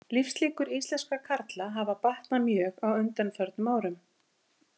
Lífslíkur íslenskra karla hafa batnað mjög á undanförnum árum.